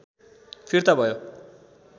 फिर्ता भयो